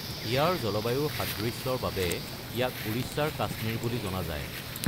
ইয়াৰ জলবায়ুৰ সাদৃশ্যৰ বাবে, ইয়াক "উৰিষ্যাৰ কাশ্মীৰ" বুলি জনা যায়।